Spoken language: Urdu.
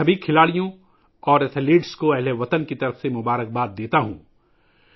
میں ہم وطنوں کی طرف سے تمام کھلاڑیوں کے لئے نیک خواہشات کا اظہار کرتا ہوں